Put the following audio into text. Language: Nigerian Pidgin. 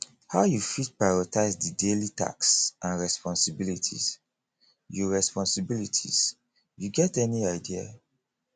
how you fit prioritize di daily tasks and responsibilities you responsibilities you get any idea